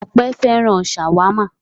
Ọpẹ́ fẹ́ràn ṣàwámà.